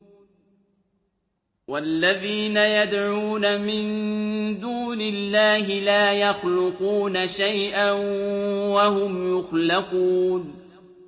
وَالَّذِينَ يَدْعُونَ مِن دُونِ اللَّهِ لَا يَخْلُقُونَ شَيْئًا وَهُمْ يُخْلَقُونَ